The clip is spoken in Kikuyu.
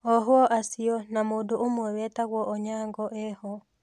Ohwo acio na mũndũ ũmwe wetagwo Onyango eho .